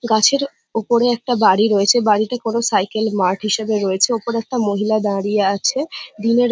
গাছের উপরে একটা বাড়ি রয়েছে বাড়িতে কোনো সাইকেল মাঠ হিসাবে রয়েছে ওপরে একটা মহিলা দাঁড়িয়ে আছে দিনের--